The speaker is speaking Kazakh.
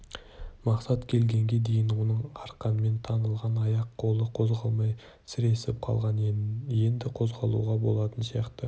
мақсат келгенге дейін оның арқанмен таңылған аяқ-қолы қозғалмай сіресіп қалған енді қозғалуға болатын сияқты